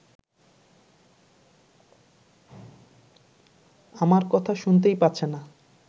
আমার কথা শুনতেই পাচ্ছে না